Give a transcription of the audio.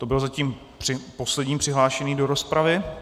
To byl zatím poslední přihlášený do rozpravy.